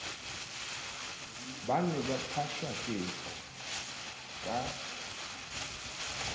ba ne ba phashaketsa ka